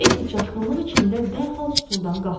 Etti çaşqınlıq içində dərhal stuldan qalxdı.